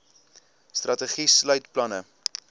strategie sluit planne